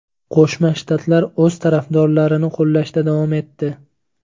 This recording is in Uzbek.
Qo‘shma Shtatlar o‘z tarafdorlarini qo‘llashda davom etdi.